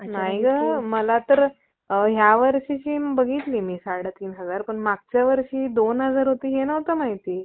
जी मुले अभ्यासात कमजोर आहेत, त्या मुलांवर लक्ष ठेवतात. त्या मुलांना अभ्यासात खूप मदत करीत असत आणि त्यांचे सर्व लक्ष ठेऊन देण्यासाठी परिपूर्ण प्रयत्न करतात.